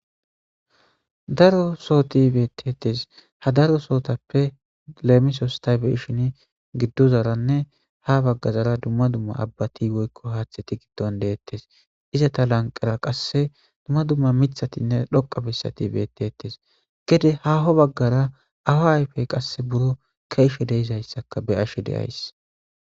daro sootibetetes ha daro sootappe leemisostaybeshin giddozaranne ha baggazara dumma dumma abbati woykko haaththeti gidton deettes iza ta lanqara qasse dumma dumma mithatinne dhoqa bessati betetes gede haho baggara awa ayfey qasse buro kaishe deizayssaka be ashe deays